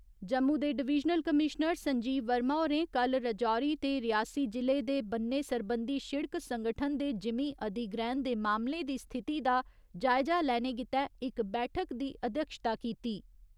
जम्मू दे divisional commissioner Sanjeev Verma होरें कल्ल राजौरी ते रियासी जि'ले दे ब'न्ने सरबंधी शिड़क संगठन दे जिमींं अधिग्रैह्‌ण दे मामलें दी स्थिति दा जायजा लैने गित्तै इक बैठक दी अध्यक्षता कीती।